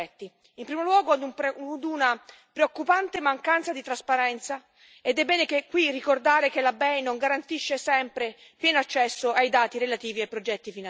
In primo luogo, una preoccupante mancanza di trasparenza, ed è bene qui ricordare che la BEI non garantisce sempre pieno accesso ai dati relativi ai progetti finanziati.